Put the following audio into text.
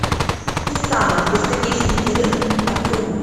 кусама бесконечные миры открой мне